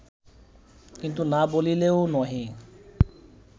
কিন্তু না বলিলেও নহে